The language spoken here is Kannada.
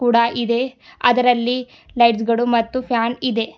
ಕೂಡ ಇದೆ ಅದರಲ್ಲಿ ಲೈಟ್ಸ್ ಗಳು ಮತ್ತು ಫ್ಯಾನ್ ಇದೆ.